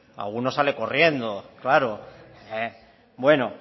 alguno sale corriendo claro bueno